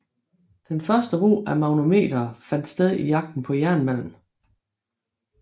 Den første brug af magnetometere fandt sted i jagten på jernmalm